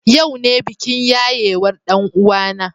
Yau ne bikin yayewar ɗan uwana.